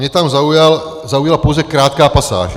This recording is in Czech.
Mě tam zaujala pouze krátká pasáž.